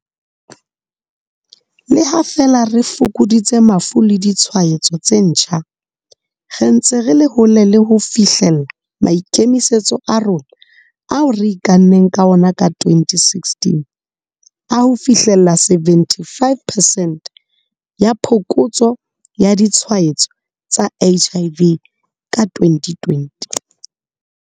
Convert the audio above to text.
Le ha feela re fokoditse mafu le ditshwaetso tse ntjha, re ntse re le hole le hofihlella maikemisetso a rona ao re ikanneng ka ona ka 2016 a ho fihlella 75 percent ya phokotso ya ditshwaetso tsa HIV ka 2020.